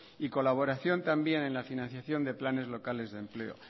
y colaboración también en la financiación de planes locales de empleos